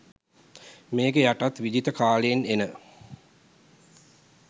මේක යටත් විජිත කාලෙන් එන